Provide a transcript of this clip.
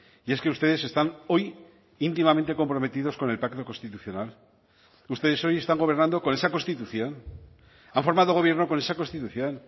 y es que ustedes están hoy íntimamente comprometidos con el pacto constitucional ustedes hoy están gobernando con esa constitución han formado gobierno con esa constitución